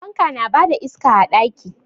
Fanka na ba da iska a ɗaki.